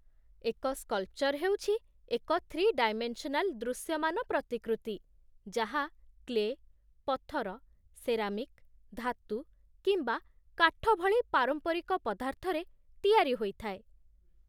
ଏକ ସ୍କଲ୍ପଚର୍ ହେଉଛି ଏକ ଥ୍ରୀ ଡାଇମେନ୍ସନାଲ୍ ଦୃଶ୍ୟମାନ ପ୍ରତିକୃତି ଯାହା କ୍ଲେ, ପଥର, ସେରାମିକ୍, ଧାତୁ, କିମ୍ବା କାଠ ଭଳି ପାରମ୍ପରିକ ପଦାର୍ଥରେ ତିଆରି ହୋଇଥାଏ